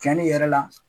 Cɛnni yɛrɛ la